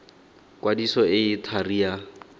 kwadiso e e thari ya